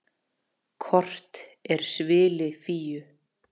Kort er svili Fíu.